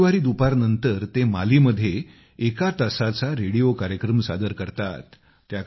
दर रविवारी दुपारनंतर ते मालीमध्ये एका तासाचा रेडिओ कार्यक्रम सादर करतात